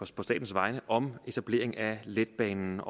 statens vegne om etablering af letbanen